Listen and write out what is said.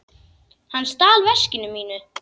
Hann stal veskinu mínu.